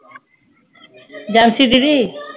ਜੈ ਮਸੀਹ ਜੀ ਦੀ